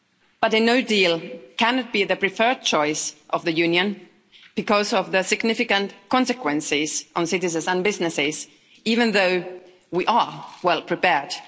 But a no deal cannot be the preferred choice of the Union, because of the significant consequences on citizens and businesses even though we are well prepared.